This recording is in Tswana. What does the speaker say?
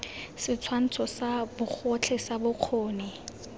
setshwantsho sa bogotlhe sa bokgoni